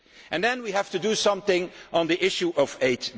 Then we have to do something on the issue of aid.